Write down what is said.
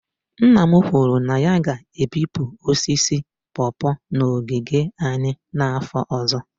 Nna m kwuru na ya ga-ebipụ osisi pawpaw n'ogige anyị n'afọ ọzọ